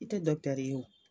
I tɛ dɔkutɛri ye,